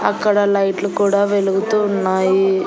అక్కడ లైట్లు కూడా వెలుగుతూ ఉన్నాయి.